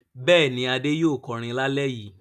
Bẹ́ẹ̀ni, Adé yóò kọrin lálẹ́ yìí.